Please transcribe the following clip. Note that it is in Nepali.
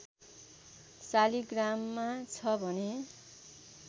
शालिग्राममा छ भने